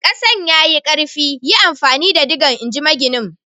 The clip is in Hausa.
Kasan ya yi karfi, yi amfani da digan, in ji maginin.